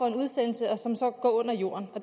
en udsendelse og som så går under jorden